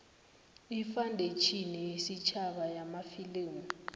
ifandetjhini yesitjhaba yamafilimu